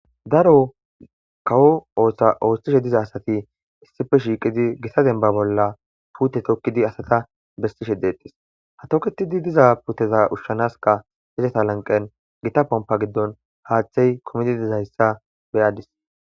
Daro kawo osa oothishe diza asati issippe shiiqid Gita demba bolla puute tokidi asata besishe detesi, ha toketidi diza puuteta ushanaska izeta laniqeni Gita pompa gidoni haatheyi kumidi dizaysa beyadisi.